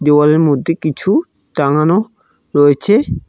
দেওয়ালের মধ্যে কিছু টাঙানো রয়েছে।